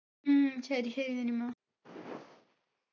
ഉം ശരി ശരി നനിമ